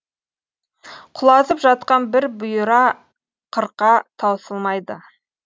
құлазып жатқан бір бұйра қырқа таусылмайды